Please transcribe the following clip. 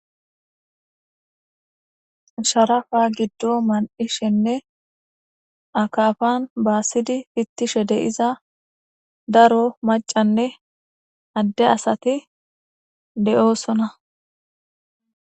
Sharafa giddon man'ishenne akafan basidi fitishe de'iza daro mac'anne adde asati de'osona.